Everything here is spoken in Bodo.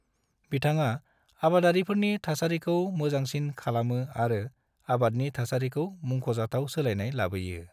बिथाङा आबादारिफोरनि थासारिखौ मोजांसिन खालामो आरो आबादनि थासारिखौ मुंख'जाथाव सोलायनाय लाबोयो।